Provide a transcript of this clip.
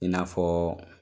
I n'afɔ